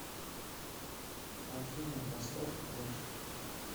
афина поставь крэш